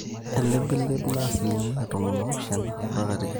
Elibilibi naa 17-20%